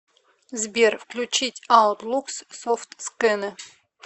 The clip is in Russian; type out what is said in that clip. сбер включить аутлукс софт скэнэ